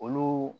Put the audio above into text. Olu